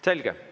Selge.